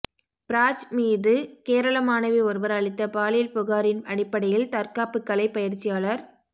பிராஜ் மீது கேரள மாணவி ஒருவர் அளித்த பாலியல் புகாரின் அடிப்படையில் தற்காப்புக்கலை பயிற்சியாளர் கெ